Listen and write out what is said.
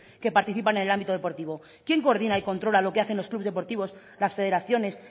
que participan en el ámbito deportivo quién coordina y controla lo que hacen los clubs deportivos las federaciones